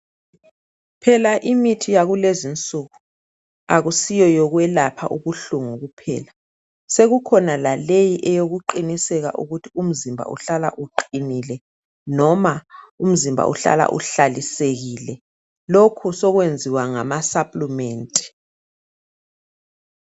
Phela imithi yakulezi insuku akusiyo yokwelapha ubuhlungu kuphela. Sekukhona laleyi eyokuqiniseka ukuthi umzimba uhlala uqinile, loba umzimba uhlala uhlalisekile. Lokhu sokwenziwa ngamasaplimenti.